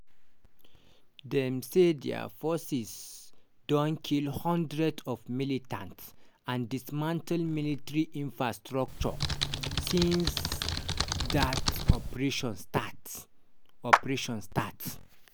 dem say dia forces don kill hundreds of militants and dismantle military infrastructure since dat operation start. operation start.